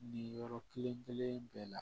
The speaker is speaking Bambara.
Nin yɔrɔ kelen kelen bɛɛ la